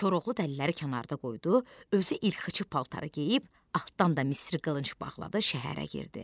Koroğlu dəliləri kənarda qoydu, özü ilxıçı paltarı geyib, altdan da misri qılınc bağladı şəhərə girdi.